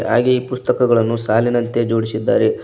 ಹಾಗೆ ಈ ಪುಸ್ತಕಗಳನ್ನು ಸಾಲಿನಂತೆ ಜೋಡಿಸಿದ್ದಾರೆ.